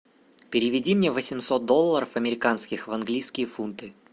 переведи мне восемьсот долларов американских в английские фунты